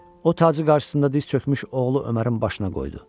O tacı qarşısında diz çökmüş oğlu Ömərin başına qoydu.